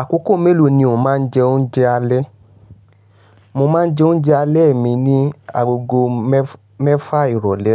Àkókò mélòó ni o máa ń jẹ oúnjẹ alẹ́? Mo máa ń jẹ oúnjẹ alẹ́ mi ní agogo mẹ́fa ìrọlé.